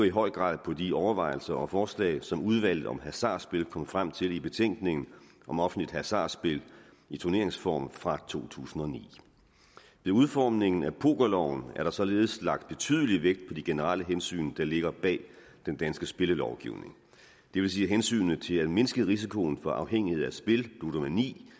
i høj grad på de overvejelser og forslag som udvalget om hasardspil kom frem til i betænkningen om offentligt hasardspil i turneringsform fra to tusind og ni ved udformningen af pokerloven er der således lagt betydelig vægt på de generelle hensyn der ligger bag den danske spillelovgivning det vil sige hensynet til at mindske risikoen for afhængighed af spil ludomani